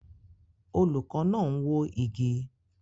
Olùkọ́ náà ń wó igi